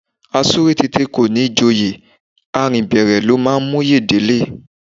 A súré tete kò ní joyè, a rìn bẹ̀rẹ̀ ló máa móyè dé ilé